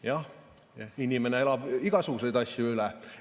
Jah, inimene elab igasuguseid asju üle.